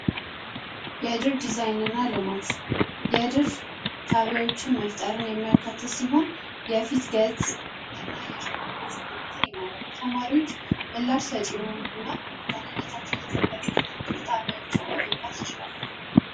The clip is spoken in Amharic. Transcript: ዲዛይንና ልማት የድርሻ ጣቢያዎችን መፍጠርን የማይሆን የፊት ገጽ እና የጀርባ ይማራሉ ተማሪዎች ምላሽነታቸው